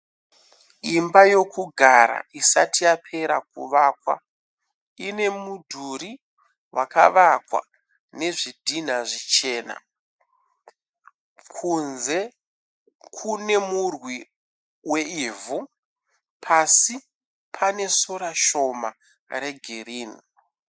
Imba yokugara isati yapera kuvakwa. Ine mudhuri wakavakwa nezvidhinha zvichena, kunze kune murwi weivhu. Pasi pane sora shoma regirinhi.